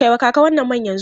Kai wa kaka wannan man yanzu!